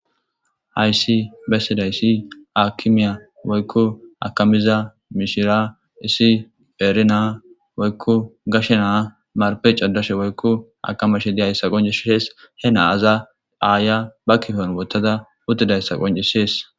Hayssi bessiday issi akimiya woykko akamiza mishiria issi eerinaa woykko gashe naa marpe cadashe woykko akamashe diyayssa qoncis shees he naaza aaya ba kifon wottada uddidayssa qoncishees